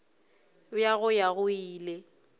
bja go ya go ile